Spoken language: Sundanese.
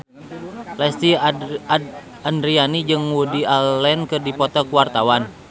Lesti Andryani jeung Woody Allen keur dipoto ku wartawan